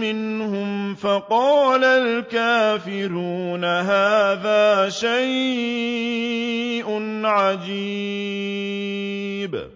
مِّنْهُمْ فَقَالَ الْكَافِرُونَ هَٰذَا شَيْءٌ عَجِيبٌ